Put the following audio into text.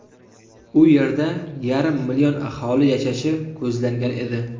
U yerda yarim million aholi yashashi ko‘zlangan edi.